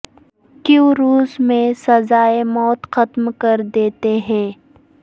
کیوں روس میں سزائے موت ختم کر دیا ہے